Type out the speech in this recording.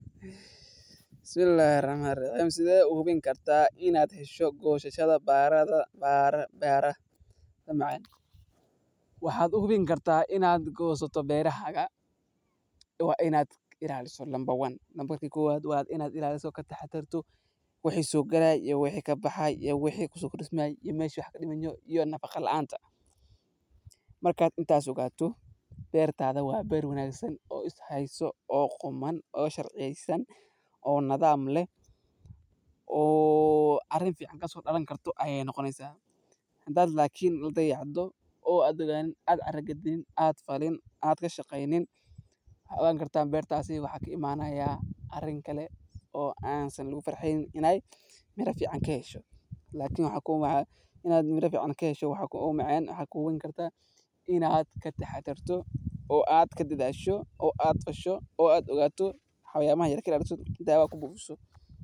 Bismillhi rahmani rahiim, Sideed u hubin kartaa inaad hesho goosashada baradhada macaan, waxad u hubin karta inad goosato beeraha oo inad ka ilaaliso, ka taxadartoo. Si aad u hubiso inaad hesho baradhada macaan ee goosan, waxaad fiirin kartaa midabka korkooda, kaas oo u badan yahay jiiro khafiif ah oo jaale leh ama casaan dhexdhexaad ah haddii ay si fiican u qalalan, halka baradhada cadda ah ay yihiin cagaar ama midab baydh oo aan si dhalaal ah u qalmin; sidoo kale, dhegta baradhada waxay noqon kartaa qof dhanaa.